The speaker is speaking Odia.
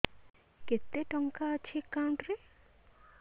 କେତେ ଟଙ୍କା ଅଛି ଏକାଉଣ୍ଟ୍ ରେ